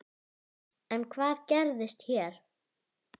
En hvað gerist hér?